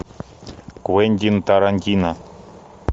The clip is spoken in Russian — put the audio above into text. квентин тарантино